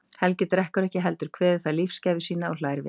Helgi drekkur ekki heldur, kveður það lífsgæfu sína og hlær við.